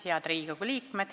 Head Riigikogu liikmed!